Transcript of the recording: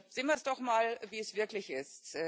Sehen wir es doch mal, wie es wirklich ist.